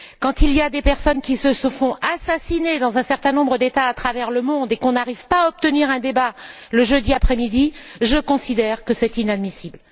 Quand des personnes se font assassiner dans un certain nombre d'États à travers le monde et qu'on n'arrive pas à obtenir un débat le jeudi après midi, je considère que c'est inadmissible.